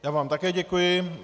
Já vám také děkuji.